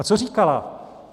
A co říkala?